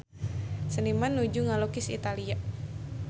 Seniman nuju ngalukis Italia